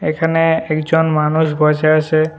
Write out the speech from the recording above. এখানে একজন মানুষ বসে আছে।